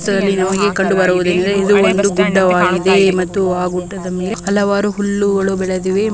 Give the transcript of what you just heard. ಚಿತ್ರದಲ್ಲಿ ಹೋಗಿ ಕಂಡುಬರುವುದೇನೆಂದರೆ ಇದು ಒಂದು ಗುಡ್ಡವಾಗಿದೆ ಮತ್ತೆ ಆ ಗುಡ್ಡದ ಮೇಲೆ ಹಲವಾರು ಹುಲ್ಲುಗಳು ಬೆಳೆದಿವೆ --